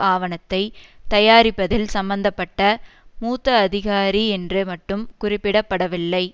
ஆவணத்தை தயாரிப்பதில் சம்மந்த பட்ட மூத்த அதிகாரி என்று மட்டும் குறிப்பிட படவில்லை